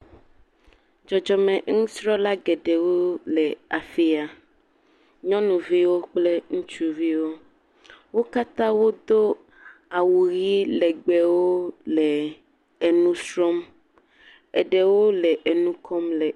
Dzodzome nusrɔ̃la geɖewo le afi ya. nyɔnuviwo kple ŋutsuviwo. Wo katã wodo awu ʋi le legbewo le enu srɔ̃m. eɖewo le anu kɔm le…